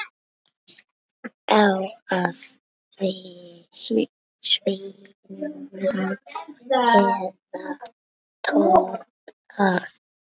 Á að svína eða toppa?